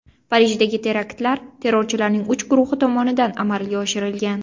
Parijdagi teraktlar terrorchilarning uch guruhi tomonidan amalga oshirilgan.